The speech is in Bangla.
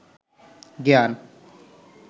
জ্ঞান